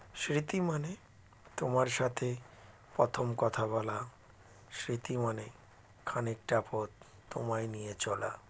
স্মৃতি মানে তোমার সাথে প্রথম কথা বলা স্মৃতি মানে খানিকটা পথ তোমায় নিয়ে চলা